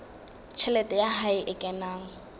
tjhelete ya hae e kenang